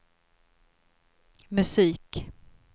musik